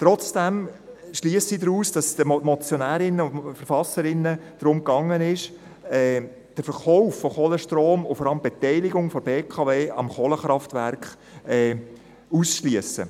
Trotzdem schliesse ich daraus, dass es den Motionärinnen und Motionären und Verfasserinnen und Verfassern darum ging, den Verkauf von Kohlestrom und vor allem die Beteiligung der BKW am Kohlekraftwerk auszuschliessen.